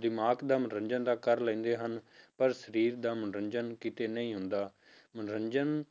ਦਿਮਾਗ ਦਾ ਮਨੋਰੰਜਨ ਤਾਂ ਕਰ ਲੈਂਦੇ ਹਨ, ਪਰ ਸਰੀਰ ਦਾ ਮਨੋਰੰਜਨ ਕਿਤੇ ਨਹੀਂ ਹੁੰਦਾ, ਮਨੋਰੰਜਨ